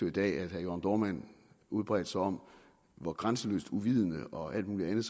i dag at herre jørn dohrmann udbredte sig om hvor grænseløst uvidende og alt muligt andet